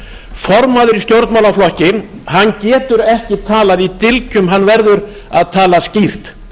formaður í stjórnmálaflokki getur ekki talað í dylgjum hann verður að tala skýrt